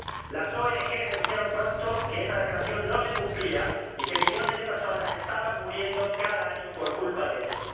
Las ONG denunciaron pronto que esa Declaración no se cumplía y que millones de personas estaban muriendo cada año por culpa de eso.